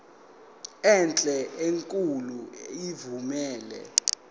enhle enkulu evumela